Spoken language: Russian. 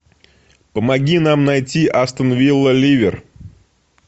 помоги нам найти астон вилла ливер